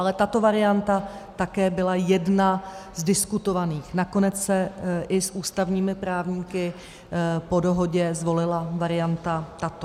Ale tato varianta také byla jedna z diskutovaných, nakonec se i s ústavními právníky po dohodě zvolila varianta tato.